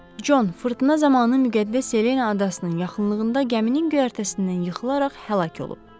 Con fırtına zamanı müqəddəs Selena adasının yaxınlığında gəminin göyərtəsindən yıxılaraq həlak olub.